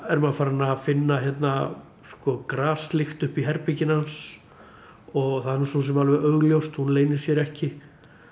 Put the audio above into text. er maður farin að finna hérna graslykt uppi í herberginu hans og það er nú svosem alveg augljóst hún leynir sér ekki